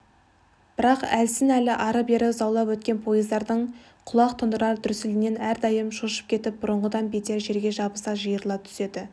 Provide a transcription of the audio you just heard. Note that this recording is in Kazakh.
бірақ әлсін-әлі ары-бері заулап өткен пойыздардың құлақ тұндырар дүрсілінен әрдайым шошып кетіп бұрынғыдан бетер жерге жабыса жиырыла түседі